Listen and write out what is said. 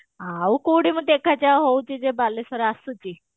ଆଉ କୋଉଠି ମୁଁ ଦେଖା ଚାହାଁ ହାଉଛି ଯେ ବାଲେଶ୍ଵର ଆସୁଛି